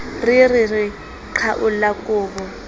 re re re qhwaolla kobo